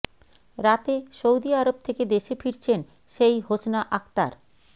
রাতে Saudi Arab থেকে দেশে ফিরছেন সেই হোসনা আক্তার